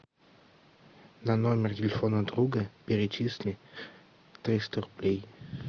на номер телефона друга перечисли триста рублей